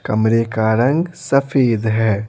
कमरे का रंग सफेद है।